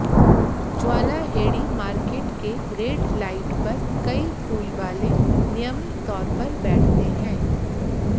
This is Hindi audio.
ज्वाला हेड़ी मार्टेक के रेड लाइट पर कई फूलवाले नियमित तौर पर बैठते हैं